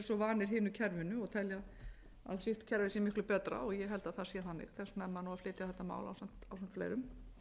vanir hinu kerfinu og telja að sitt kerfi sé miklu betra ég held að það sé þannig þess vegna er maður að flytja þetta mál